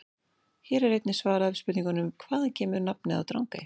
Hér er einnig svarað spurningunum: Hvaðan kemur nafnið á Drangey?